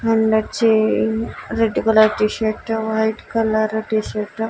మల్లచ్చి red colour T shirt white colour T shirt --